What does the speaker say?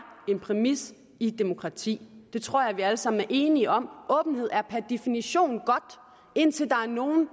en præmis i et demokrati det tror jeg vi alle sammen er enige om åbenhed er per definition godt indtil der er nogle